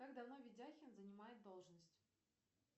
как давно видяхин занимает должность